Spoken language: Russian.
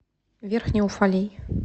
верхний уфалей